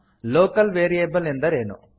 local variable ಎಂದರೇನು